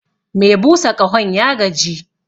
Me busa ƙahon ya gaji